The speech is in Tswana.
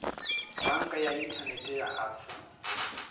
banka ya inthanete ya absa